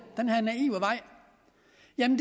ad den